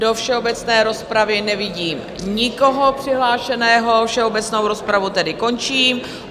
Do všeobecné rozpravy nevidím nikoho přihlášeného, všeobecnou rozpravu tedy končím.